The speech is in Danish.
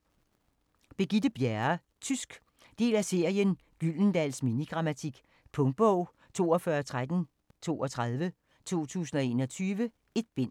Bjerre, Birgitte: Tysk Del af serien Gyldendals mini-grammatik. Punktbog 421332 2021. 1 bind.